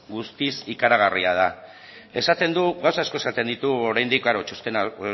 guztiz ikaragarria da gauza asko esaten ditu oraindik klaro txostena